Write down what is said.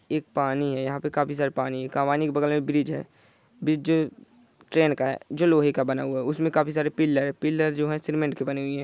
एक पानी है यहाँ पे काफी सारे पानी है पानी के बगल मे ब्रिज है ब्रिज ट्रेन का है जो लोहे का बना हुआ है उसमे काफी सारे पिलर पिलर जो है सीनमेन्ट के बने हुए है ।